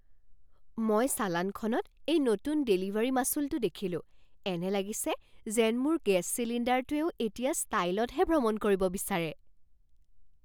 মই চালানখনত এই নতুন ডেলিভাৰী মাচুলটো দেখিলোঁ। এনে লাগিছে যেন মোৰ গেছ চিলিণ্ডাৰটোৱেও এতিয়া ষ্টাইলতহে ভ্ৰমণ কৰিব বিচাৰে!